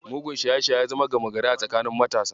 Mugun shaye-shaye ya zama gama gari a tsakanin matasa.